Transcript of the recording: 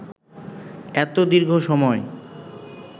এত দীর্ঘ সময়